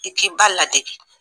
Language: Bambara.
I k'i ba ladege.